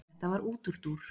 Þetta var útúrdúr.